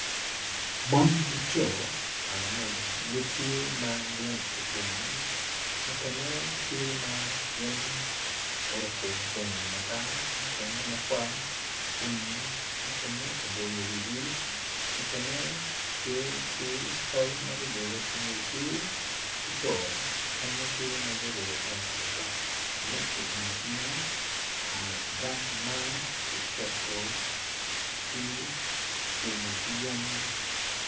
Mon ki co karamoja gitye ma gucung mukene tye ma gin oruko bongo matar mukene makwar kun mukene opoyo wigi mukene tye ki tol ma gubolo i ngutgi ki co mukene tye ma guruko waa otok gin ocung acunga i nget gang ma kiketo ki kicelo ki yen